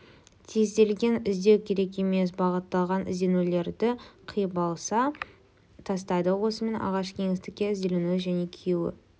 тезделген іздеу керек емес бағытталған ізденулерді қиып алып тастайды осымен ағашы кеңістікте ізделінуі және күйі